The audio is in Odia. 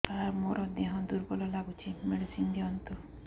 ସାର ମୋର ଦେହ ଦୁର୍ବଳ ଲାଗୁଚି ମେଡିସିନ ଦିଅନ୍ତୁ